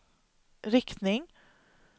riktning